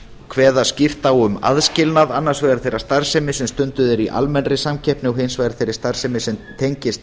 kveða skýrt á um aðskilnað annars vegar þeirrar starfsemi sem stunduð er í almennri samkeppni og hins vegar þeirri starfsemi sem tengist